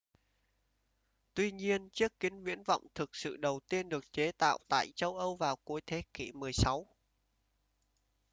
tuy nhiên chiếc kính viễn vọng thực sự đầu tiên được chế tạo tại châu âu vào cuối thế kỉ 16